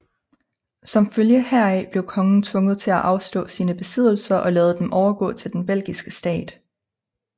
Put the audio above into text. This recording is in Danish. Som følge heraf blev kongen tvunget til at afstå sine besiddelser og lade dem overgå til den belgiske stat